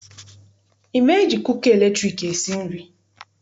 I ma eji kuka latriki esi nri?